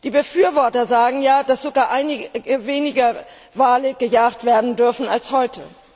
Die Befürworter sagen, dass sogar weniger Wale gejagt werden dürften als heute.